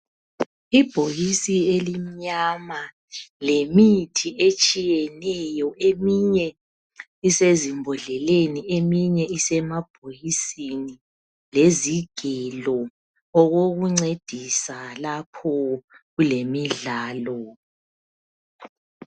Ibhokisi elimnyama lemithi etshiyeneyo eminye isezimbodleleni eminye isemabhokisini lezigelo okokumcedisa lapho kulemidlalo